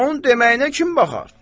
Onun deməyinə kim baxar?